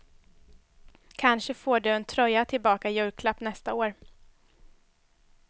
Kanske får du en tröja tillbaka i julklapp nästa år.